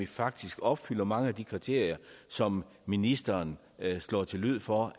faktisk opfylder mange af de kriterier som ministeren slår til lyd for